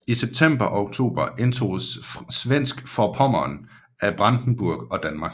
I september og oktober indtoges Svensk Forpommern af Brandenburg og Danmark